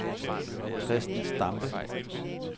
Chresten Stampe